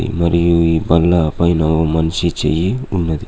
మరియు ఈ బల్ల పైన ఓ మనిషి చెయ్యి ఉన్నది.